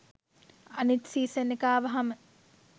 අනිත් සීසන් එක ආවහම